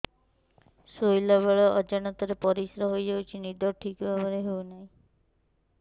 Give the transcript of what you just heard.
ଶୋଇଲା ବେଳେ ଅଜାଣତରେ ପରିସ୍ରା ହୋଇଯାଉଛି ନିଦ ଠିକ ଭାବରେ ହେଉ ନାହିଁ